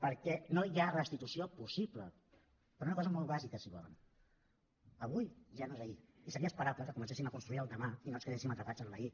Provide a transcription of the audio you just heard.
perquè no hi ha restitució possible per una cosa molt bàsica si ho volen avui ja no és ahir i seria esperable que comencéssim a construir el demà i no ens quedéssim atrapats en l’ahir